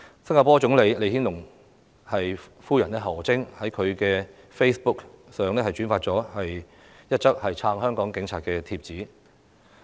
新加坡總理李顯龍夫人何晶亦在其 Facebook 上轉發了一則撐香港警察的帖子。